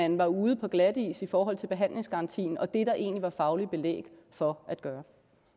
man var ude på glatis i forhold til behandlingsgarantien og det der egentlig var fagligt belæg for at gøre